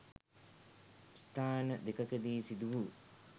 ස්ථාන දෙකකදී සිදු වූ